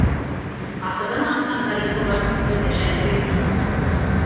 ғасырдан астам тарихы бар құнды жәдігер